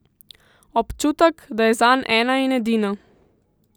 Občutek, da je zanj ena in edina.